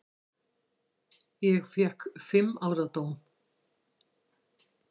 Og fékk fimm ára dóm.